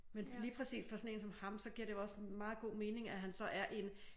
Men lige præcis for sådan en som ham så giver det jo også meget god mening at han så er i en